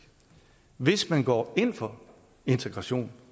hvis man går ind for integration